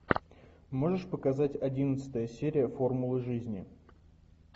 можешь показать одиннадцатая серия формула жизни